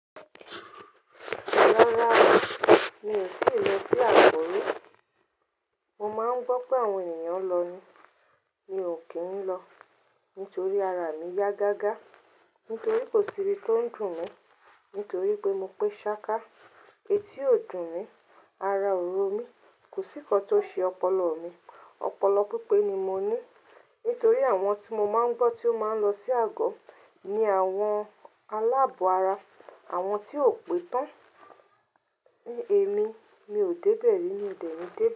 Rárá o, mi ò tíì lọ sí àgò o. Mo máa ń gbọ́ pé àwọn ènìyàn lọ ni, mi ò kí ń lọ. Nítorí ara mi yá gágá, nítorí kò sí ibi tó ń dùn mí, nítorí pé mo pé ṣáká, etí ò dùn mí, ara òró mi, kò sí kan tó ṣe ọpọlọ mi. Ọpọlọ pípé ni mo ní. Nítorí àwọn tí mọ máa ń gbọ́ tí ó máa ń lọ sí àgò ni àwọn aláàbò ara, àwọn tí ò pé tán. Èmi, mi ò dẹ́bẹ̀ẹ́ rí mí ọ dẹ̀ni dẹ̀be.